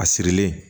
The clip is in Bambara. A sirilen